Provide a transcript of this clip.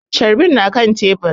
Carbin na kan tebur